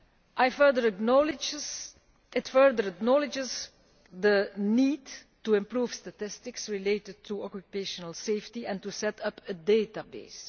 It further acknowledges the need to improve statistics related to occupational safety and to set up a database.